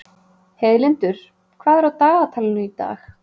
Heiðlindur, hvað er á dagatalinu í dag?